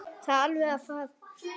Það er alveg að farast.